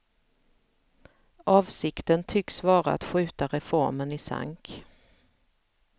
Avsikten tycks vara att skjuta reformen i sank.